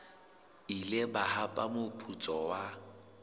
ile ba hapa moputso wa